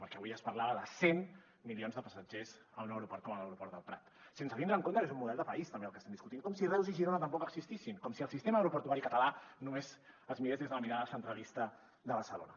perquè avui es parlava de cent milions de passatgers en un aeroport com l’aeroport del prat sense tindre en compte que és un model de país també el que estem discutint com si reus i girona tampoc existissin com si el sistema aeroportuari català només es mirés des de la mirada centralista de barcelona